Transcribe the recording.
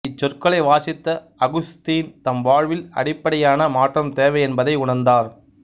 இச்சொற்களை வாசித்த அகுஸ்தீன் தம் வாழ்வில் அடிப்படையான மாற்றம் தேவை என்பதை உணர்ந்தார்